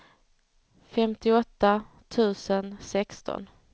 femtioåtta tusen sexton